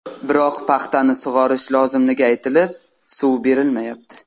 Biroq paxtani sug‘orish lozimligi aytilib, suv berilmayapti.